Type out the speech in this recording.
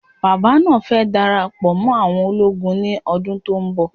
Bàbá náà fẹ dara pọ mó àwọn ológun ní ọdún tó ń bọ̀